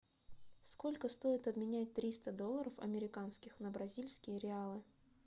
сколько стоит обменять триста долларов американских на бразильские реалы